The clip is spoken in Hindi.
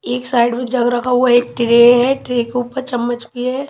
एक साइड वो जग रखा हुआ है एक ट्रे है ट्रे के ऊपर चम्मच भी है।